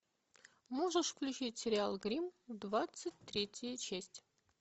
можешь включить сериал гримм двадцать третья часть